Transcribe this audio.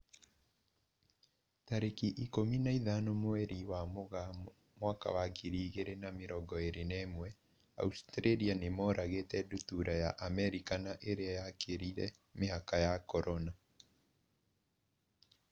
Tarĩki ikũmi na ithano mweri wa Mũgaa mwaka wa ngiri igĩrĩ na mĩrongo ĩrĩ na ĩmwe, Australia nĩmoragĩte ndutura ya Amerika na ĩrĩa yakĩrire mĩhaka ya Corona.